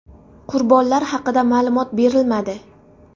Qurbonlar haqida ma’lumot berilmadi.